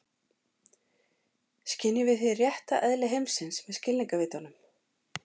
Skynjum við hið rétta eðli heimsins með skilningarvitunum?